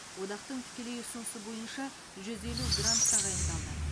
одақтың тікелей ұсынысы бойынша жүз елу грант тағайындалды